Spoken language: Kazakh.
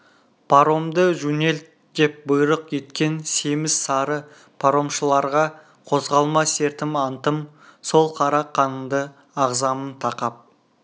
паромды жөнелт деп бұйрық еткен семіз сары паромшыларға қозғалма сертім антым сол қара қаныңды ағызамын тақап